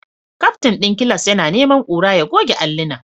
Captain din class yana neman kura ya goge allunan